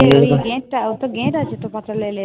ঐ যে gate টা, gate আছে তো পাতালরেলের।